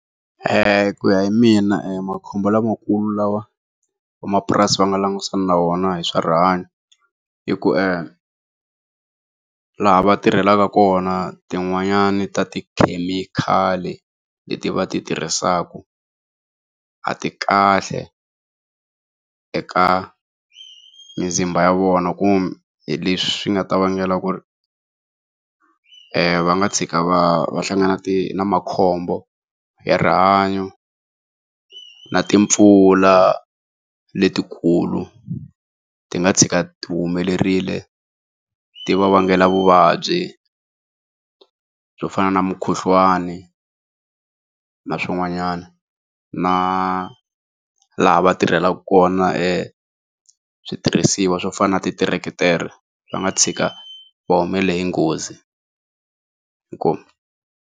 ku ya hi mina e makhombo lamakulu lawa vamapurasi va nga langutisana na wona hi swa rihanyo hi ku laha va tirhelaka kona tin'wanyani ta tikhemikhali leti va ti tirhisaka a ti kahle eka mizimba ya vona leswi nga ta vangela ku ri va nga tshika va hlangana na makhombo ya rihanyo na timpfula letikulu ti nga tshika ti humelerile ti va vangela vuvabyi byo fana na mukhuhlwani na swin'wanyana na laha va tirhelaku kona switirhisiwa swo fana na ti tiretere swi nga tshika va humelele hi nghozi, inkomu.